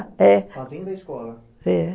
É, fazendo a escola? é.